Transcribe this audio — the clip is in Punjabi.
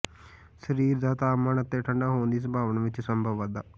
ਸਰੀਰ ਦਾ ਤਾਪਮਾਨ ਅਤੇ ਠੰਢ ਹੋਣ ਦੀ ਸੰਭਾਵਨਾ ਵਿੱਚ ਸੰਭਵ ਵਾਧਾ